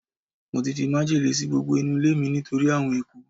mo ti fi májèlé si gbogbo inu ilé mi nitori awon eku